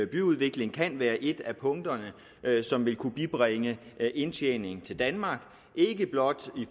byudvikling kan være et af punkterne som vil kunne bibringe indtjening til danmark ikke blot i